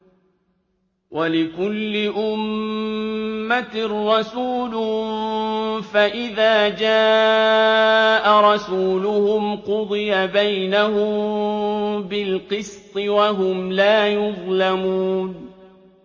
وَلِكُلِّ أُمَّةٍ رَّسُولٌ ۖ فَإِذَا جَاءَ رَسُولُهُمْ قُضِيَ بَيْنَهُم بِالْقِسْطِ وَهُمْ لَا يُظْلَمُونَ